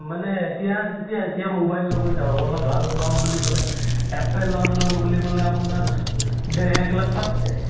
মানে এতিয়া যেতিয়া এতিয়া mobile লব যাওঁ অলপ ভাল লম বুলি কলে apple ৰ লম বুলি কলে আপোনাৰ দে এক লাখ পাৰ হৈ যায়।